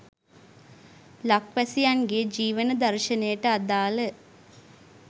ලක්වැසියන් ගේ ජීවන දර්ශනයට අදාළ